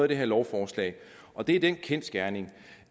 det her lovforslag og det er den kendsgerning